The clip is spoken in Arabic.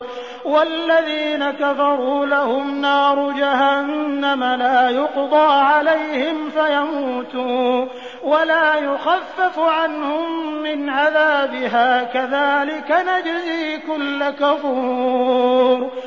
وَالَّذِينَ كَفَرُوا لَهُمْ نَارُ جَهَنَّمَ لَا يُقْضَىٰ عَلَيْهِمْ فَيَمُوتُوا وَلَا يُخَفَّفُ عَنْهُم مِّنْ عَذَابِهَا ۚ كَذَٰلِكَ نَجْزِي كُلَّ كَفُورٍ